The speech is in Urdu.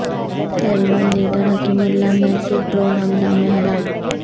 Taliban leader Hakimullah Mehsud drone حملہ میں ہلاک